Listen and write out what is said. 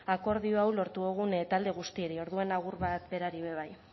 akordio hau lortu dogun talde guztieri orduan agur bat berari be bai